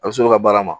A bɛ s'olu ka baara ma